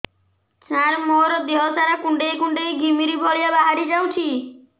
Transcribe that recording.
ସାର ମୋର ଦିହ ସାରା କୁଣ୍ଡେଇ କୁଣ୍ଡେଇ ଘିମିରି ଭଳିଆ ବାହାରି ଯାଉଛି